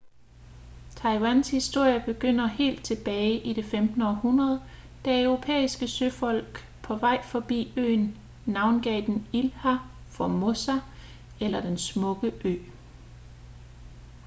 taiwans historie begynder helt tilbage i det 15. århundrede da europæiske søfolk på vej forbi øen navngav den ilha formosa eller den smukke ø